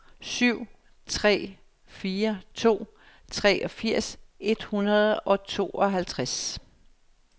syv tre fire to treogfirs et hundrede og tooghalvtreds